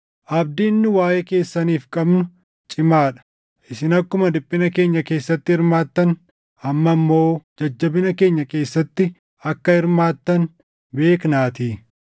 Abdiin nu waaʼee keessaniif qabnu cimaa dha; isin akkuma dhiphina keenya keessatti hirmaattan amma immoo jajjabina keenya keessatti akka hirmaattan beeknaatii.